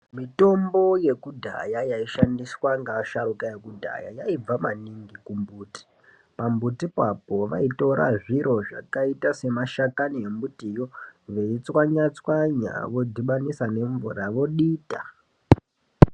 Mitombo yekudhaya yaishandiswa ngevasharukwa vekudhaya yaibva maningi kumbuti. Pambutipo apo vaitora zviro zvakaite semashakani yembitiyo veitswanya tswanya vosanganisa nemvura veidita.